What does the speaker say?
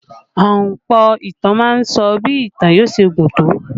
Ahunpọ̀ ìtàn má ń sọ bí ìtàn yóò ṣe gùn tó